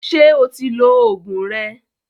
Ṣé o ti lo Ògùn rẹ?